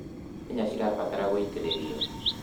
nyanya cirabaratara gũitiririo